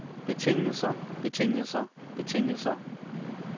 betingelser betingelser betingelser